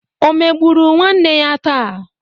Ọ emegburu nwanne ya taa?